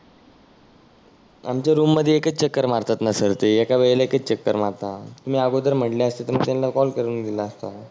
आमच्या रुम मध्ये एकच चक्कर मारतात ना सर ते. एका वेळेला एकच चक्कर मारता. तुम्ही आगोदर म्हटले असते तर मी त्याना कॉल करुन दिला असता.